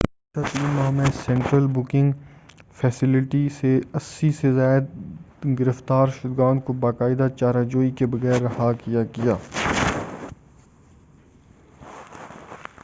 گُذشتہ 3 ماہ میں central booking facility سے 80 سے زائد گرفتار شُدگان کو باقاعدہ چارہ جوئی کے بغیر رہا کیا گیا